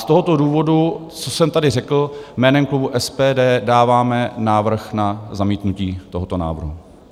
Z tohoto důvodu, co jsem tady řekl, jménem klubu SPD dáváme návrh na zamítnutí tohoto návrhu.